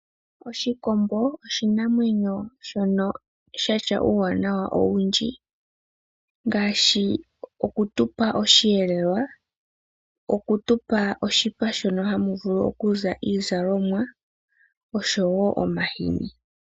Oshikombo osho oshinamwenyo shono sha tya uuwanawa owindji, ngaashi oku tu pa osheelelwa, oku tu pa oshipa shono hamu vulu oku za iizalomwa, osho wo omahini.